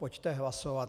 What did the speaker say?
Pojďte hlasovat.